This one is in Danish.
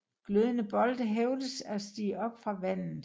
Glødende bolde hævdes at stige op fra vandet